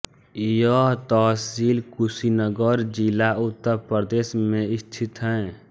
यह तहसील कुशीनगर जिला उत्तर प्रदेश में स्थित है